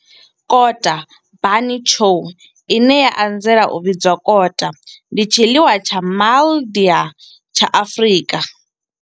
Kota bunny chow, ine ya anzela u vhidzwa kota, ndi tshiḽiwa tsha MaIdia tsha Afrika.